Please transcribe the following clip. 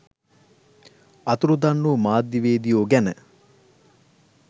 අතුරුදන් වූ මාධ්‍යවේදියෝ ගැන